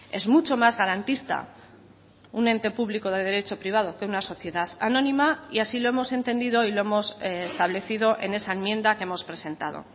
es mucho más garantista un ente público de derecho privado que una sociedad anónima y así lo hemos entendido y lo hemos establecido en esa enmienda que hemos presentado